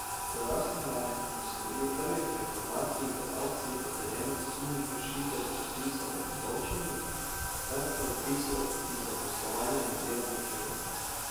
Pojasnila je, da so bili po prvih informacijah v akciji potrjeni sumi kršitev predpisov o obdavčenju ter predpisov iz zaposlovanja in dela na črno.